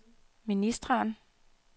ministeren